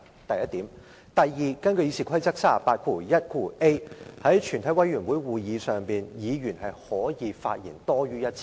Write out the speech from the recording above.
第二，根據《議事規則》第 381a 條，在全體委員會會議上，委員可以發言多於1次。